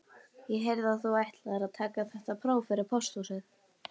Ég heyrði að þú ætlaðir að taka þetta próf fyrir pósthúsið